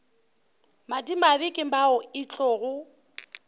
madimabe ke bao e tlogo